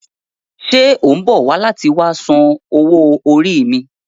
Ṣe o mbọ wa lati wa san owó orí mi?